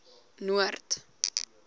noord